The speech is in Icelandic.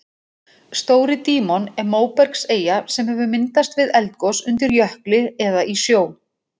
Stóri-Dímon er móbergseyja sem hefur myndast við eldgos undir jökli eða í sjó.